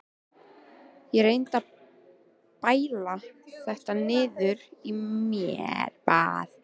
Ég reyndi að bæla þetta niður í mér, bað